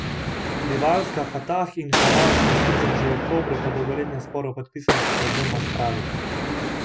Rivalska Fatah in Hamas sta sicer že v oktobru po dolgoletnem sporu podpisala sporazum o spravi.